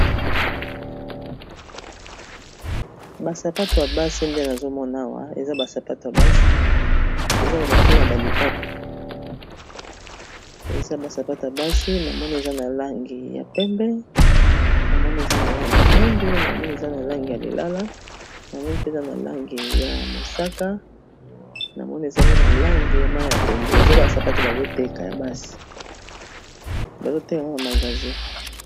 Ba sapato ya basi nde nazomona awa eza ba sapato ya basi eza na ba forme ba lipapa eza ba sapata basi na moni eza na langi ya pembe, na moni eza na langi ya mwindu, namoni eza na langi ya lilala, na moni pe eza na langi ya mosaka, na moni eza pe na langi ya mayi ya pondu, eza ba sapato bazoteka na magazin.